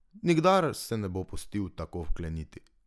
Nikdar se ne bo pustil tako vkleniti.